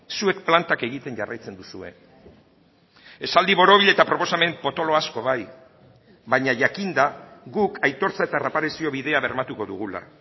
zuek plantak egiten jarraitzen duzue esaldi borobil eta proposamen potolo asko bai baina jakinda guk aitortza eta erreparazio bidea bermatuko dugula